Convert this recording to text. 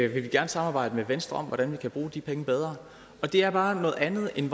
vil gerne samarbejde med venstre om hvordan vi kan bruge de penge bedre det er bare noget andet end